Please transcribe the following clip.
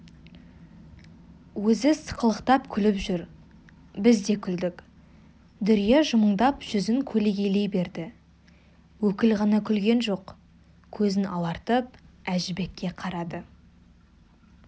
өзі сықылықтап күліп жүр біз де күлдік дүрия жымыңдап жүзін көлегейлей берді өкіл ғана күлген жоқ көзін алартып әжібекке қарады